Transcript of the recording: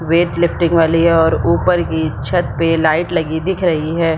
VAT lifting वाली है और ऊपर की छत पे लाइट लगी दिख रही हैं।